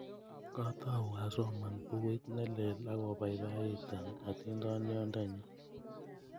Katou asoman pukuit ne lel akopoipoiton atindyonnyi